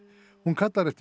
hún kallar eftir